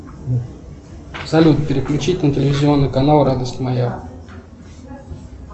салют переключить на телевизионный канал радость моя